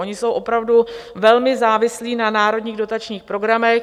Oni jsou opravdu velmi závislí na národních dotačních programech.